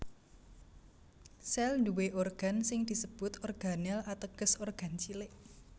Sèl nduwé organ sing disebut organel ateges organ cilik